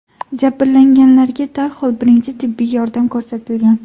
Jabrlanganlarga darhol birinchi tibbiy yordam ko‘rsatilgan.